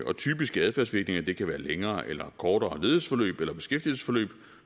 og typiske adfærdsvirkninger kan være længere eller kortere ledighedsforløb eller beskæftigelsesforløb